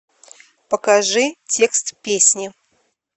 покажи текст песни